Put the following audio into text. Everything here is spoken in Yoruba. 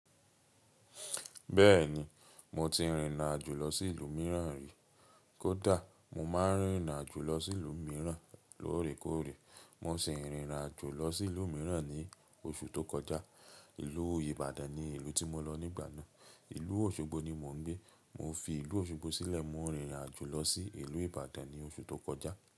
Bẹ́ẹ̀ni, mo ti rìnrìn àjò lọ sí ìlú mìíràn rí. Kódà mo máa ń rìnrìn àjò lọ sí ìlú mìíràn lóòrèkóòrè. Mo ṣe rìnrìn àjò lọ sí ìlú mìíràn ní oṣù tó kọjá. Ìlú Ìbàdàn ni ìlú tí mo lọ nígbà náà. Ìlú Òṣogbo ni mo ń gbé. Mo fi ìlú Òṣogbo sílẹ̀ mo rìnrìn àjò lọ sí ìlú Ìbàdàn ní oṣù tó kọjá.